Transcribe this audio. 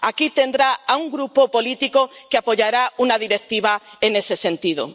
Aquí tendrá a un grupo político que apoyará una directiva en ese sentido.